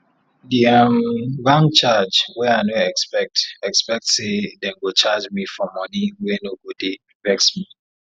di um bank charge wey i no expect expect say dem go charge me for money wey no go dey vex me